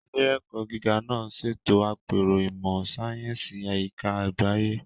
Ilé-ẹ̀kọ́ gíga náà ṣètò àpérò ìmọ̀ sáyẹ́sì àyíká àgbáyé.